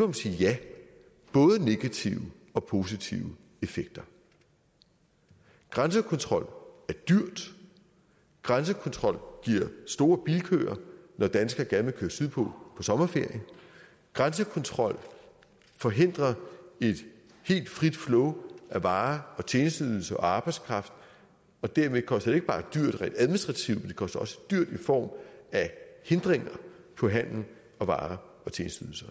man sige ja både negative og positive effekter grænsekontrol er dyr grænsekontrol giver store bilkøer når danskere gerne vil køre sydpå på sommerferie grænsekontrol forhindrer et helt frit flow af varer og tjenesteydelser og arbejdskraft og dermed koster det ikke bare dyrt rent administrativt men det koster også dyrt i form af hindringer på handel og varer og tjenesteydelser